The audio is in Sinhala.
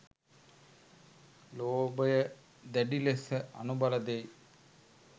ලෝභය දැඩි ලෙස අනුබල දෙයි.